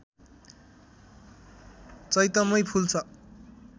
चैतमै फुल्छ